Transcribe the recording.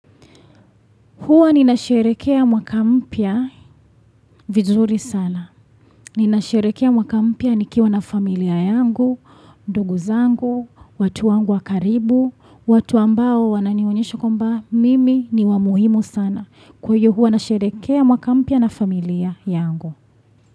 Huwa ninasherehekea mwaka mpya vizuri sana. Ninasherehekea mwaka mpya nikiwa na familia yangu, ndugu zangu, watu wangu wa karibu, watu ambao wananionyesho kwamba mimi ni wa muhimu sana. Kwa hiyo huwa nasherehekea mwaka mpya na familia yangu.